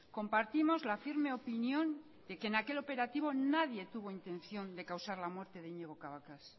compartimos la firme opinión de que en aquel operativo nadie tuvo intención de causar la muerte de iñigo cabacas